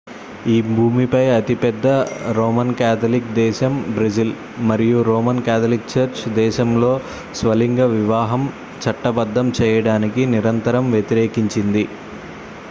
ఈ భూమిపై అతిపెద్ద రోమన్ క్యాథలిక్ దేశం బ్రెజిల్ మరియు రోమన్ క్యాథలిక్ చర్చి దేశంలో స్వలింగ వివాహం చట్టబద్ధం చేయడాన్ని నిరంతరం వ్యతిరేకించింది